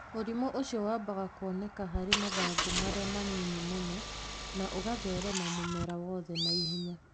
Mũrimũ ũcio wambaga kwoneka harĩ mathangũ marĩa manyinyi mũno, na ũgatherema mumera wothe na ihenya.